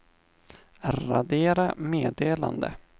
radera meddelande